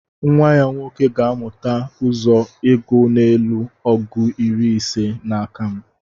nwa-ya nwoke gāmuta uzọ ịgu n'elu ọgu iri ise n'akam